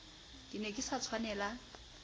ke ne ke sa tshwanela